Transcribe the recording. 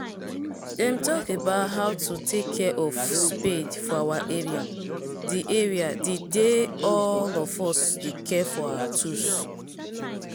them talk about how to take care of our spade for our area the area the day all of us dey care for our tools